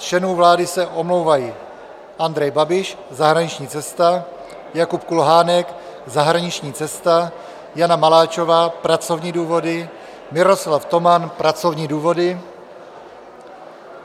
Z členů vlády se omlouvají: Andrej Babiš - zahraniční cesta, Jakub Kulhánek - zahraniční cesta, Jana Maláčová - pracovní důvody, Miroslav Toman - pracovní důvody.